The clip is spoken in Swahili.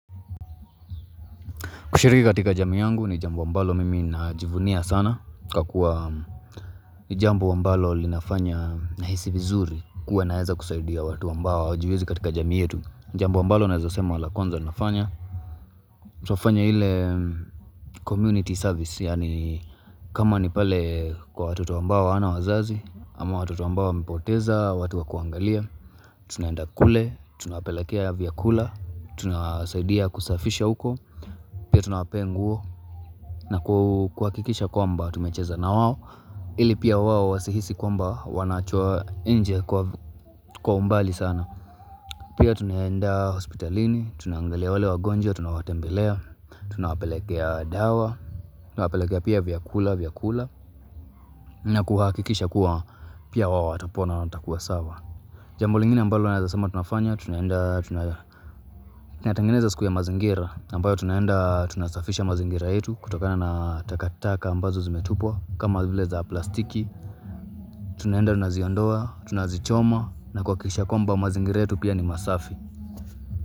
Kushiriki katika jamii yangu ni jambo ambalo mimi najivunia sana. Kakuwa ni jambo ambalo linafanya nahisi vizuri kuwa naeza kisaidia watu ambao hawajiwezi katika jamii yetu. Jambo ambalo naeza sema la kwanza nafanya. Twafanya ile community service yaani kama ni pale kwa watoto ambao hawana wazazi ama watoto ambao wamepoteza watu wa kuangalia. Tunaenda kule, tunawapelekea vyakula, tuna saidia kusafisha huko. Tunaenda kule, tunawpelekea ya vyakula, tunawasaidia kusafisha mazingira. Twafanya ile community service yaani kama ni pale kwa watoto ambao hawana wazazi ama watu ambao wamepoteza watu wa kuangalia. Pia tunawpea nguo na kuhakikisha kwamba tumecheza na wao ili pia wao wasihisi kwamba wameachwa nje kwa umbali sana Tunaenda kule, tunawapeleka dawa, tunawapelekea ya viakula, tuna saidia kusafisha uko. Pia tunapenguo na kuakikisha kwamba tumecheza na wawo ili pia wawo wasihisi kwamba wanachua inje kwa umbali sana siu ya mazingira ambayo tunaenda tunasafisha mazingira ambayo tunaenda tunasafisha mazingira yetu kutokana na zile takataka ambaxo zimetupwa kama vile plastiki tunaenda tunaziondoa tunazichoma na kuhakikisha kwamba mazingira yetu ni masafi.